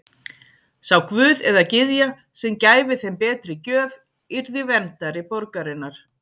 Sá guð eða gyðja sem gæfi þeim betri gjöf yrði verndari borgarinnar.